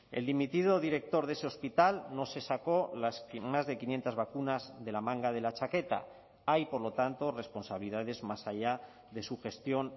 el dimitido director de ese hospital no se sacó las más de quinientos vacunas de la manga de la chaqueta hay por lo tanto responsabilidades más allá de su gestión